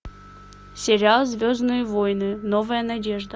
сериал звездные войны новая надежда